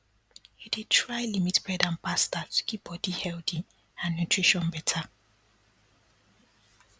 you dey try limit bread and pasta to keep body healthy and nutrition better